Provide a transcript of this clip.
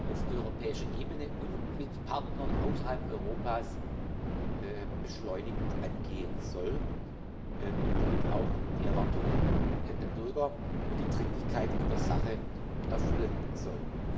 auf europäischer Ebene und mit Partnern außerhalb Europas beschleunigt angehen soll und damit auch die Erwartungen der Bürger und die Dringlichkeit in der Sache erfüllen soll.